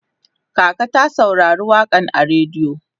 kaka ta saurari waƙan a rediyo